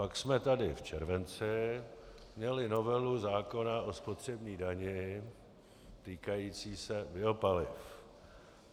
Pak jsme tady v červenci měli novelu zákona o spotřební dani týkající se biopaliv.